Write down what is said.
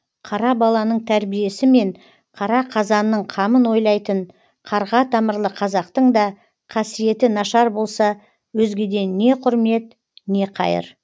қара баланың тәрбиесі мен қара қазанның қамын ойлайтын қарға тамырлы қазақтың да қасиеті нашар болса өзгеден не құрмет не қайыр